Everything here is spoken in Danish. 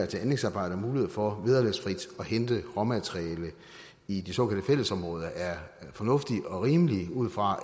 til anlægsarbejder muligheden for vederlagsfrit at hente råmaterialer i de såkaldte fællesområder er fornuftig og rimelig ud fra